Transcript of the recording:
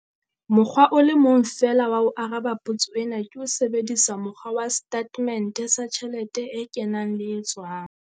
Mokgwa o le mong feela wa ho araba potso ena ke ho sebedisa mokgwa wa setatemente sa tjhelete e kenang le e tswang.